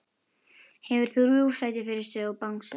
Hefur þrjú sæti fyrir sig og bangsa.